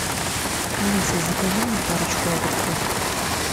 алиса закажи мне парочку огурцов